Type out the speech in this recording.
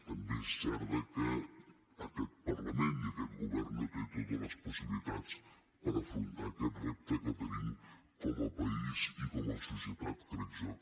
també és cert que aquest parlament i aquest govern no tenen totes les possibilitats per afrontar aquest repte que tenim com a país i com a societat crec jo